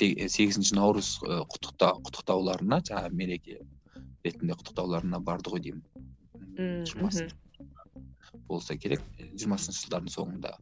сегізінші наурыз ы құттықтауларына жаңағы мереке ретінде құттықтауларына барды ғой деймін болса керек жиырмасыншы жылдардың соңында